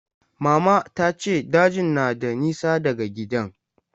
Mama ta ce dajin na da nisa daga gidan.